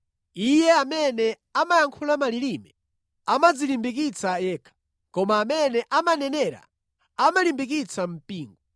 Iye amene amayankhula malilime amadzilimbikitsa yekha, koma amene amanenera amalimbikitsa mpingo.